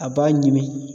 A b'a ɲimi